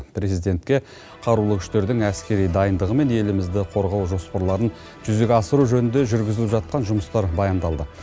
президентке қарулы күштердің әскери дайындығы мен елімізді қорғау жоспарларын жүзеге асыру жөнінде жүргізіліп жатқан жұмыстар баяндалды